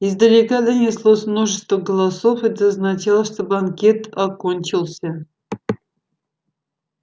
издалека донеслось множество голосов это означало что банкет окончился